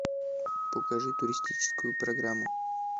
покажи туристическую программу